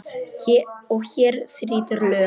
Og hér þrýtur lög.